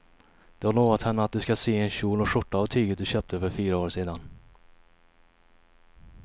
Du har lovat henne att du ska sy en kjol och skjorta av tyget du köpte för fyra år sedan.